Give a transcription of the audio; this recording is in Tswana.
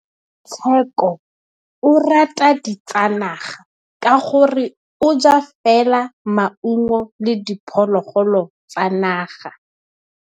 Tshekô o rata ditsanaga ka gore o ja fela maungo le diphologolo tsa naga.